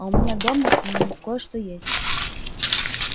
а у меня дома мм кое-что есть